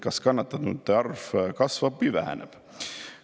Kas kannatanute arv kasvab või väheneb?